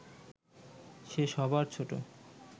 সে সবার ছোট